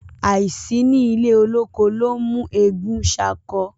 áí sí ní ilè olókó ló ń mú egún ṣako